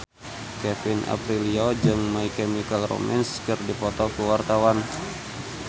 Kevin Aprilio jeung My Chemical Romance keur dipoto ku wartawan